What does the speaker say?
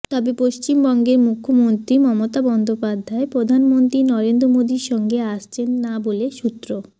তবে পশ্চিমবঙ্গের মুখ্যমন্ত্রী মমতা বন্দ্যোপাধ্যায় প্রধানমন্ত্রী নরেন্দ্র মোদির সঙ্গে আসছেন না বলে সূত্র